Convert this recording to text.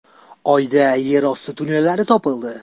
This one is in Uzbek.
Oyda yerosti tunnellari topildi.